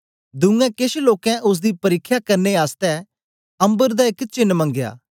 दुए केछ लोकें ओसदी परिख्या करने आसतै अम्बर दा एक चेन्न मंगया